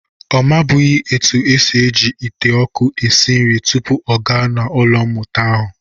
Ọ mabụghị etu e si eji ite ọkụ esi nri tupu ọ gaa ụlọ mmụta ahụ.